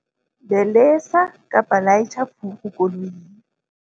Belesa laitjha furu koloing.